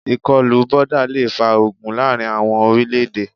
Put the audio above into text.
Ìkọlù boda le fa ogun láàrin àwọn orílẹ̀-èdè.